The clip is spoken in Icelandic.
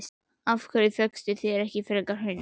Af hverju fékkstu þér ekki frekar hund?